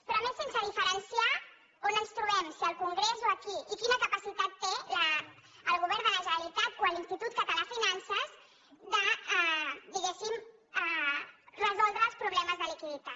però a més sense diferenciar on ens trobem si al congrés o aquí i quina capacitat té el govern de la generalitat o l’institut català de finances de diguéssim resoldre els problemes de liquiditat